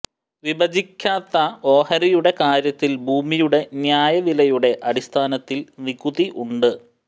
വിഭജിക്കാത്ത ഓഹരിയുടെ കാര്യത്തിൽ ഭൂമിയുടെ ന്യായവിലയുടെ അടിസ്ഥാനത്തിൽ നികുതി ഉണ്ട്